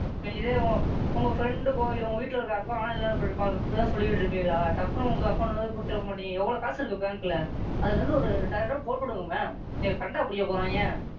சரி இதே உங்க Friend க்கோ இல்லை உங்க வீட்டுல இருக்குற யாருக்கோ ஆனா இப்படி தான் சொல்லிட்டு இருப்பீங்களா டப்புன்னு உங்க Account ல இருந்து கொடுத்துருக்க மாட்டீங்க எவ்வளவு காசு இருக்கு Bank ல அதுல இருந்து ஒரு ரெண்டாயிரம் ரூபாய் போட்டு விடுங்க Ma'am என்ன கண்டாபிடிக்க போறாய்ங்க,